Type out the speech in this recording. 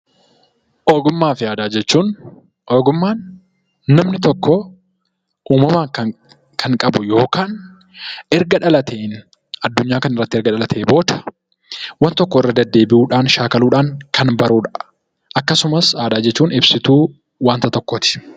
Ogummaa fi aadaa jechuun ogummaan namni tokko uumamaan kan qabu yookaan erga dhalatee, addunyaa kanarratti erga dhalatee booda waan tokko irra deddeebi'uudhaan, shaakaluudhaan kan barudha. Akkasumas aadaa jechuun ibsituu waanta tokkooti.